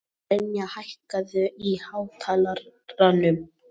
Brynja, hækkaðu í hátalaranum.